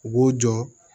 U b'u jɔ